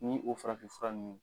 Ni o farafinfura nunnu